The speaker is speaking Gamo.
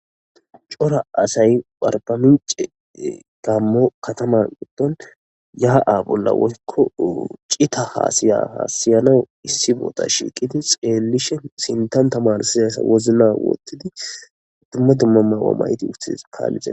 Cora asay barbamince gammo kataman itton yaa7a bolla woykko cita hasiya haasiyanao issi boota shiiqidi xeellishe sintan tamarsizas wozna wottidi dumma dumma mawa mayti uthis kaallizee.